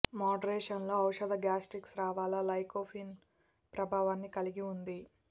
moderation లో ఔషధ gastric స్రావాల లైకోపీన్ ప్రభావాన్ని కలిగి ఉంది